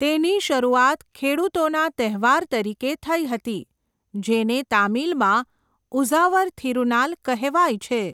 તેની શરૂઆત ખેડૂતોના તહેવાર તરીકે થઈ હતી, જેને તામિલમાં ઉઝાવર થિરુનાલ કહેવાય છે.